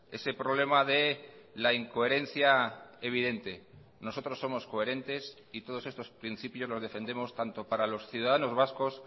ese problema de la incoherencia evidente nosotros somos coherentes y todos estos principios los defendemos tanto para los ciudadanos vascos